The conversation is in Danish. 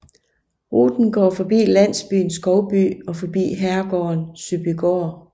Ruten går forbi landsbyen Skovby og forbi herregården Søbygaard